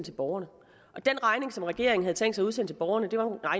borgerne og den regning som regeringen havde tænkt sig ud til borgerne